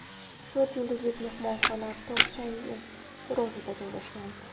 To‘rt yulduzlik mehmonxona tog‘-chang‘i kurortida joylashgan.